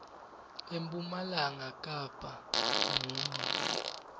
empumalanga kapa munye